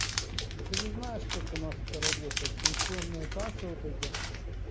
ну ты же знаешь как у нас это работает пенсионные кассы вот эти